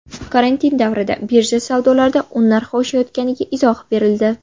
Karantin davrida birja savdolarida un narxi oshayotganiga izoh berildi.